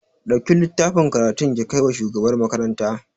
Ɗauki littafin karatun ki kai wa shugabar makaranta